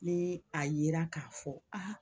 Ni a yera k'a fɔ aa